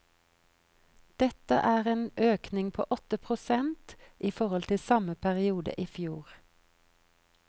Dette er en økning på åtte prosent i forhold til samme periode i fjor.